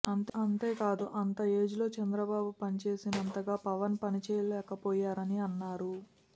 అంతేకాదు అంత ఏజ్లో చంద్రబాబు పనిచేసినంతగా పవన్ పని చేయలేకపోయారని అన్నారు